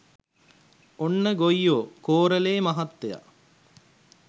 ඔන්න ගොයියෝ කෝරළේ මහත්තය